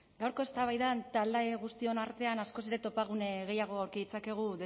gaurko eztabaidan talde guztion artean askoz ere topagune gehiago aurki ditzakegu